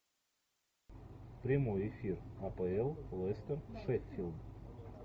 прямой эфир апл лестер шеффилд